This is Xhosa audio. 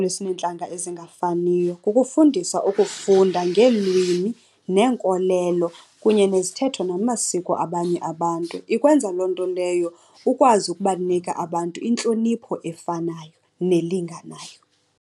Esineentlanga ezingafaniyo kukufundisa ukufunda ngeelwimi neenkolelo kunye nezithethe namasiko abanye abantu. Ikwenza loo nto leyo ukwazi ukubanika abantu intlonipho efanayo nelinganayo.